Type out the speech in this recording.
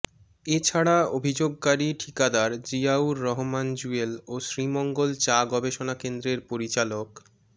এছাড়া অভিযোগকারী ঠিকাদার জিয়াউর রহমান জুয়েল ও শ্রীমঙ্গল চা গবেষণা কেন্দ্রের পরিচালক ড